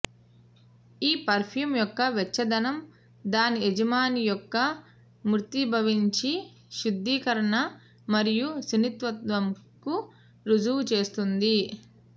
ఈ పెర్ఫ్యూమ్ యొక్క వెచ్చదనం దాని యజమాని యొక్క మూర్తీభవించిన శుద్ధీకరణ మరియు సున్నితత్వంకు రుజువు చేస్తుంది